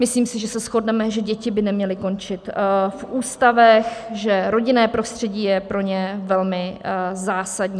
Myslím si, že se shodneme, že děti by neměly končit v ústavech, že rodinné prostředí je pro ně velmi zásadní.